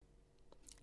DR2